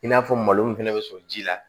I n'a fɔ malo min fɛnɛ be sɔrɔ ji la